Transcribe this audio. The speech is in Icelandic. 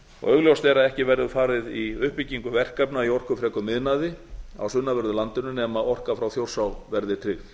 augljóst er að ekki verður farið í uppbyggingu verkefna í orkufrekum iðnaði á sunnanverðu landinu nema orka frá þjórsá verði tryggð